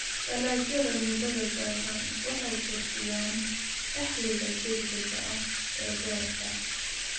Dalagyada muddada gaaban waxay kordhiyaan dakhliga degdega ah ee beerta.